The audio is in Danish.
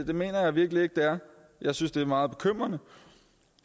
det mener jeg virkelig ikke det er jeg synes det er meget bekymrende